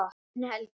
Þinn Helgi.